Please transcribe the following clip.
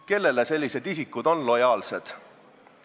Kellele on sellised isikud lojaalsed?